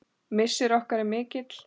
Missir okkar er mikill.